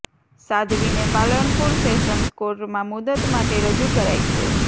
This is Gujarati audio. સાધ્વીને પાલનપુર સેશન્સ કોર્ટમાં મુદત માટે રજૂ કરાઇ છે